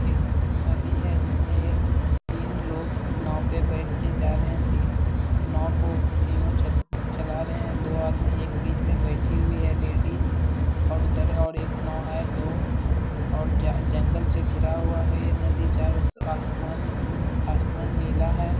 एक नदी है जिसमें एक तीन लोग नाव पे बैठके जा रहे हैं। तीन नाव को तीनों च चला रहें हैं। दो आदमी एक बीच में बैठी हुई है लेडीज और उधर और एक नाव है दो और ज जंगल से घिरा हुआ है ये नदी चारों आस आसमान नीला है।